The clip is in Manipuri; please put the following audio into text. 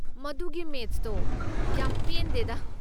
ꯃꯗꯨꯒꯤ ꯃꯦꯆꯇꯣ ꯌꯥꯝ ꯄꯦꯟꯗꯦꯗꯥ꯫